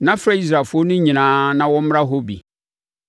na frɛ Israelfoɔ no nyinaa na wɔmmra hɔ bi.”